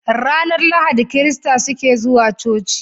Ranar lahadi kirista suke zuwa coci